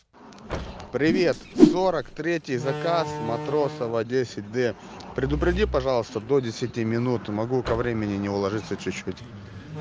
привет сорок третий заказ матросова десять д предупреди пожалуйста до десяти минут могу ко времени не уложиться чуть-чуть